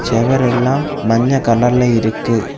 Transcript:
செவர் எல்லாம் மஞ்ஞ கலர்ல இருக்கு.